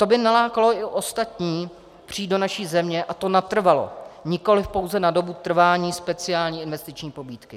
To by nalákalo i ostatní přijít do naší země, a to natrvalo, nikoliv pouze na dobu trvání speciální investiční pobídky.